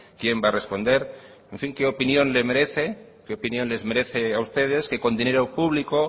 quién va a responder en fin qué opinión le merece que opinión les merece a ustedes que con dinero público